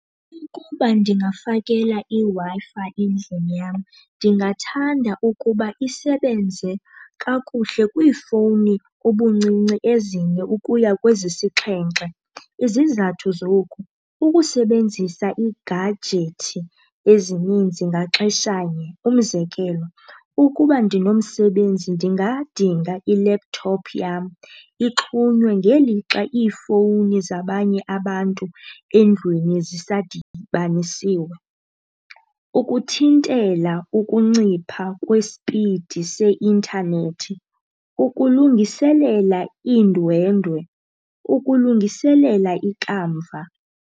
Ukuba ndingafakela iWi-Fi endlini yam ndingathanda ukuba isebenze kakuhle kwiifowuni ubuncinci ezine ukuya kwezisixhenxe. Izizathu zoku, ukusebenzisa iigajethi ezininzi ngaxeshanye. Umzekelo, ukuba ndinomsebenzi ndingadinga ilephuthophu yam ixhunywe ngelixa iifowuni zabanye abantu endlwini zisadibanisiwe ukuthintela ukuncipha kwesipidi seintanethi, ukulungiselela iindwendwe, ukulungiselela ikamva.